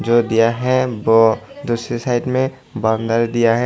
दिया है ब दूसरे साइड में बंदर दिया है।